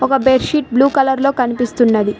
ఒక bed sheet blue colour లో కనిపిస్తున్నది.